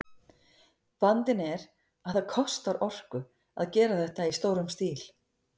Vandinn er að það kostar orku að gera þetta í stórum stíl.